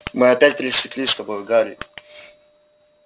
мы опять пересеклись с тобою гарри